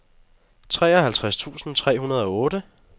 treoghalvtreds tusind tre hundrede og otte